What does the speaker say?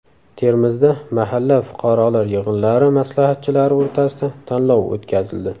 Termizda mahalla fuqarolar yig‘inlari maslahatchilari o‘rtasida tanlov o‘tkazildi.